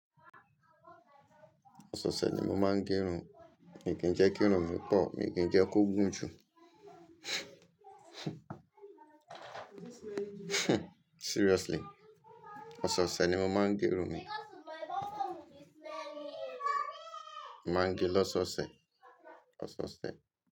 Ọ̀sẹ̀osẹ̀ ni mo máa ń gẹ irun, mi kí jẹ́ kí irun po, mi kì í jẹ́ kó gùn jù. Seriously, ọ̀sẹ̀ẹ̀sẹ̀ ni mo máa ń gẹ irun mi. Mo máa ń gẹ lọ́sọ̀ọ̀sẹ̀, ọ̀sẹ̀osẹ̀.